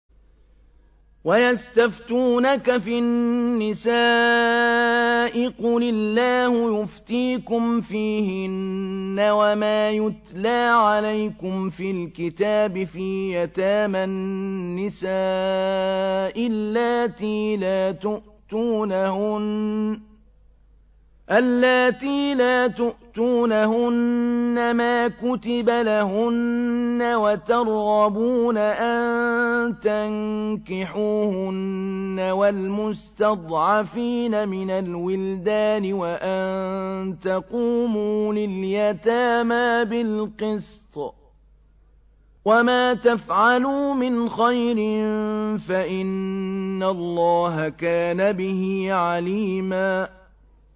وَيَسْتَفْتُونَكَ فِي النِّسَاءِ ۖ قُلِ اللَّهُ يُفْتِيكُمْ فِيهِنَّ وَمَا يُتْلَىٰ عَلَيْكُمْ فِي الْكِتَابِ فِي يَتَامَى النِّسَاءِ اللَّاتِي لَا تُؤْتُونَهُنَّ مَا كُتِبَ لَهُنَّ وَتَرْغَبُونَ أَن تَنكِحُوهُنَّ وَالْمُسْتَضْعَفِينَ مِنَ الْوِلْدَانِ وَأَن تَقُومُوا لِلْيَتَامَىٰ بِالْقِسْطِ ۚ وَمَا تَفْعَلُوا مِنْ خَيْرٍ فَإِنَّ اللَّهَ كَانَ بِهِ عَلِيمًا